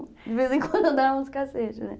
De vez em quando eu dava uns cacete, né?